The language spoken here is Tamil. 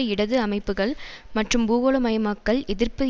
இடது அமைப்புக்கள் மற்றும் பூகோளமயமாக்கல் எதிர்ப்பு